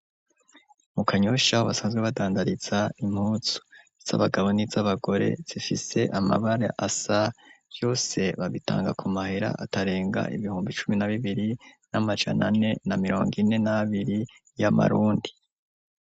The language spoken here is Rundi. Mu kanyosha basanzwe badandariza impuzu. Iz'abagabo niz'abagore zifise amabara asa, vyose babitanga ku mahera atarenga ibihumbi cumi na bibiri n'amajana ane na mirongo ine n'abiri y'amarundi.